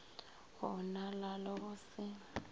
go onala le go se